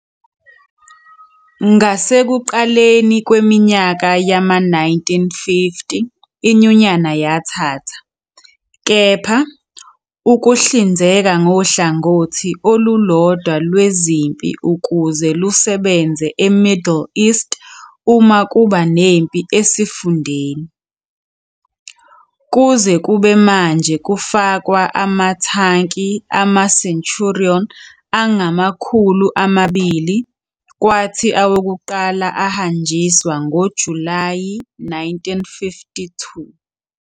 Ngasekuqaleni kweminyaka yama-1950 iNyunyana yathatha, kepha, ukuhlinzeka ngohlangothi olulodwa lwezempi ukuze lusebenze eMiddle East uma kuba nempi esifundeni. Kuze kube manje kufakwa ama-tanki ama-Centurion angamakhulu amabili, kwathi awokuqala ahanjiswa ngoJulayi 1952.